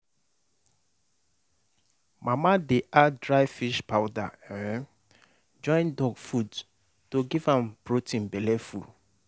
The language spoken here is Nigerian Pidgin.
mama dey add dry fish powder um join dog food to give am protein belle full.